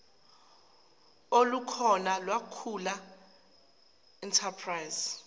olukhona kwakhula enterprise